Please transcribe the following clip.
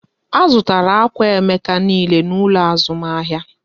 A zụtara akwà Emeka niile n'ụlọ azụmahịa